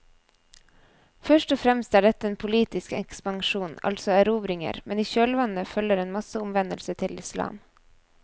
Først og fremst er dette en politisk ekspansjon, altså erobringer, men i kjølvannet følger en masseomvendelse til islam.